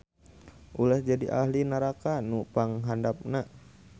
Ulah jadi ahli naraka nu panghandapna